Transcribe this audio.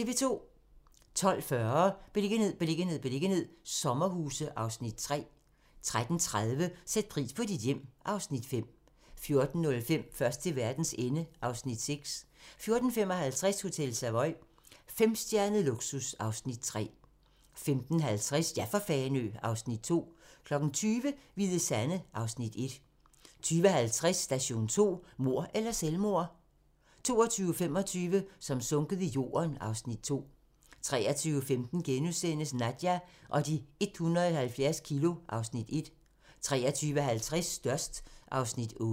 12:40: Beliggenhed, beliggenhed, beliggenhed - sommerhuse (Afs. 3) 13:30: Sæt pris på dit hjem (Afs. 5) 14:05: Først til verdens ende (Afs. 6) 14:55: Hotel Savoy - femstjernet luksus (Afs. 3) 15:50: Ja for Fanø! (Afs. 2) 20:00: Hvide Sande (Afs. 1) 20:50: Station 2: Mord eller selvmord? 22:25: Som sunket i jorden (Afs. 2) 23:15: Nadja og de 170 kilo (Afs. 1)* 23:50: Størst (Afs. 8)